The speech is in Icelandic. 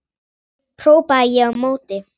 hrópaði ég á móti.